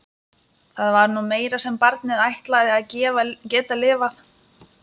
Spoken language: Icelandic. Það var nú meira sem barnið ætlaði að geta lifað.